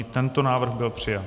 I tento návrh byl přijat.